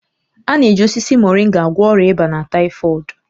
A na-eji osisi Moringa agwọ ọrịa ịba na taịfọdụ